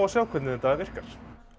sjá hvernig þetta virkar